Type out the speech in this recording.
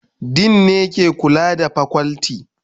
Dean ne ke kula da fakulti